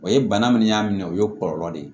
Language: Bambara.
O ye bana min y'a minɛ o ye kɔlɔlɔ de ye